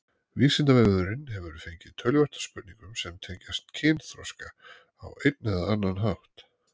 Vísindavefurinn hefur fengið töluvert af spurningum sem tengjast kynþroska á einn eða annan hátt.